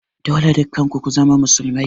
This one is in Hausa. Dole dukkan ku ku zama musulmai